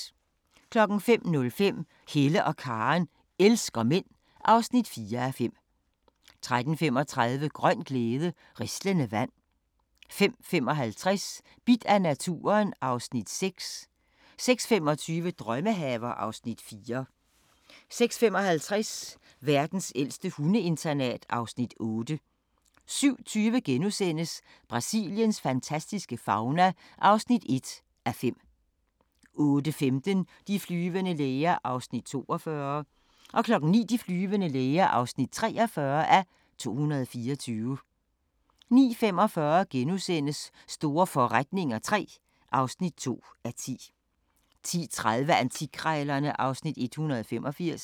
05:05: Hella og Karen elsker mænd (4:5) 05:35: Grøn glæde – rislende vand 05:55: Bidt af naturen (Afs. 6) 06:25: Drømmehaver (Afs. 4) 06:55: Verdens ældste hundeinternat (Afs. 8) 07:20: Brasiliens fantastiske fauna (1:5)* 08:15: De flyvende læger (42:224) 09:00: De flyvende læger (43:224) 09:45: Store forretninger III (2:10)* 10:30: Antikkrejlerne (Afs. 185)